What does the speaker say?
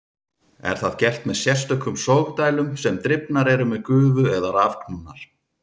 Er það gert með sérstökum sogdælum sem drifnar eru með gufu eða rafknúnar.